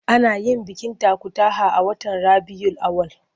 Ana yin bikin takutaha a watan Rabiyul Awwal.